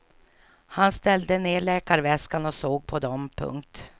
Han ställde ner läkarväskan och såg på dem. punkt